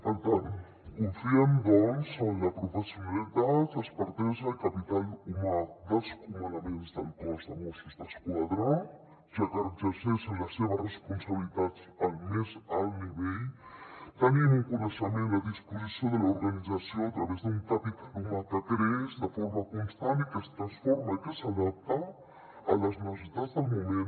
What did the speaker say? per tant confiem doncs en la professionalitat expertesa i capital humà dels comandaments del cos de mossos d’esquadra ja que exerceixen les seves responsabilitats al més alt nivell tenim un coneixement a disposició de l’organització a través d’un capital humà que creix de forma constant i que es transforma i que s’adapta a les necessitats del moment